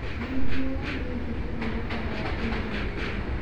Nĩguo, ningĩ kũhurũka gwa kũigana